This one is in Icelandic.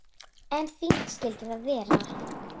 En fínt skyldi það vera!